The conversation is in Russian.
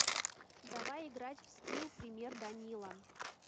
давай играть в скилл пример данила